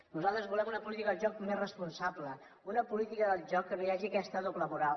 nosaltres volem una política del joc més responsable una política del joc en què no hi hagi aquesta doble moral